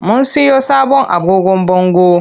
Mun siyo sabon agogon bango.